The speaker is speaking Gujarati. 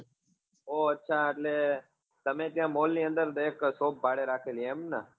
ઓં અચ્છા એટલે તમે ત્યાં mall ની અંદર એક shop ભાડે રાખેલી એમ ને?